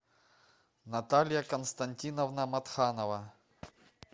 наталья константиновна матханова